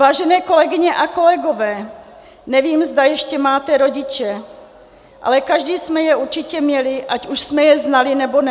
Vážené kolegyně a kolegové, nevím, zda ještě máte rodiče, ale každý jsme je určitě měli, ať už jsme je znali, nebo ne.